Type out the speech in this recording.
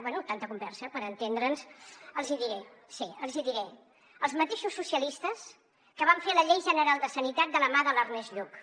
bé tanta conversa per entendre’ns els hi diré sí els hi diré els mateixos socialistes que van fer la llei general de sanitat de la mà de l’ernest lluch